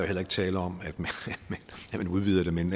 heller ikke tale om at man udvider det men